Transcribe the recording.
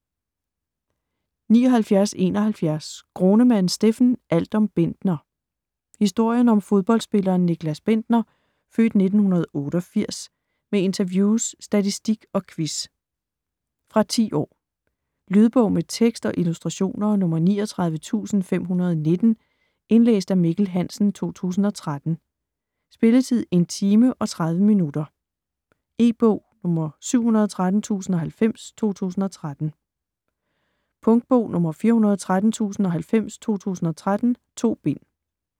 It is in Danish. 79.71 Gronemann, Steffen: Alt om Bendtner Historien om fodboldsspilleren Nicklas Bendtner (f. 1988) med interviews, statistik og quiz. Fra 10 år. Lydbog med tekst og illustrationer 39519 Indlæst af Mikkel Hansen, 2013. Spilletid: 1 timer, 30 minutter. E-bog 713090 2013. Punktbog 413090 2013. 2 bind.